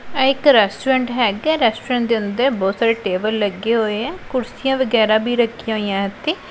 ਇਕ ਰੈਸਟੋਰੈਂਟ ਹੈਗਾ ਰੈਸਟੋਰੈਂਟ ਦੇ ਅੰਦਰ ਬਹੁਤ ਸਾਰੇ ਟੇਬਲ ਲੱਗੇ ਹੋਏ ਆ ਕੁਰਸੀਆਂ ਵਗੈਰਾ ਵੀ ਰੱਖੀਆਂ ਹੋਈਆਂ ਇਥੇ।